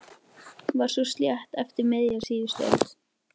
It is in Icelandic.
Túnið var svo sléttað eftir miðja síðustu öld.